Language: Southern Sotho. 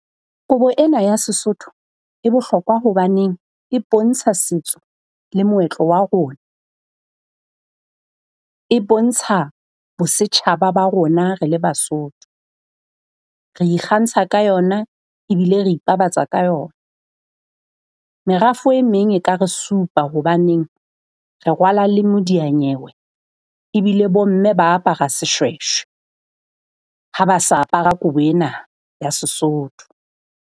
Kobo ena ya Sesotho e bohlokwa hobaneng e bontsha setso le moetlo wa rona. E bontsha bo setjhaba ba rona re le Basotho. Re ikgantsha ka yona ebile re ipabatsa ka yona. Merafo e meng e ka re supa hobaneng re rwala le modiya nyewe ebile bo mme ba apara seshweshwe ha ba sa apara kobo ena ya Sesotho.